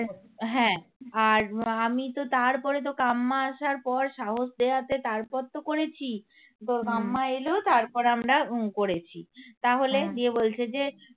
হ্যাঁ আর আমি তো তারপরে তো কাম্মা আসার পর সাহস দেওয়াতে তারপর তো করেছি momma এলো তারপরে আমরা উম করেছি. তাহলে দিয়ে বলছে যে